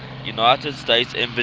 united states embassy